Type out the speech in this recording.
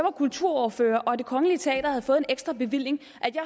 kulturordfører og det kongelige teater havde fået en ekstra bevilling